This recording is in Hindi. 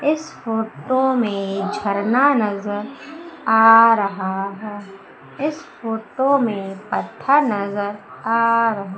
इस फोटो में झरना नजर आ रहा है इस फोटो में पत्थर नजर आ रहा--